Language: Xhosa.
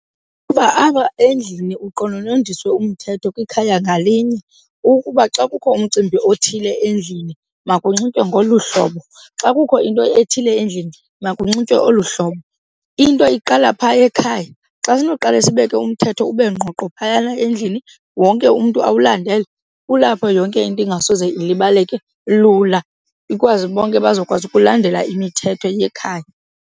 Uba apha endlini uqononondiswe umthetho kwikhaya ngalinye ukuba xa kukho umcimbi othile endlini makunxitywe ngolu hlobo, xa kukho into ethile endlini makunxitywe olu hlobo. Into iqala phaa ekhaya. Xa ndinoqala sibeke umthetho ube ngqoqo phayana endlini wonke umntu awulandele kulapho yonke into ingasoze ilibaleke lula, ikwazi bonke bazokwazi ukulandela imithetho yekhaya.